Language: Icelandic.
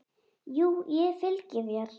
Jú, ég fylgi þér.